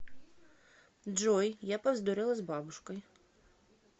джой я повздорила с бабушкой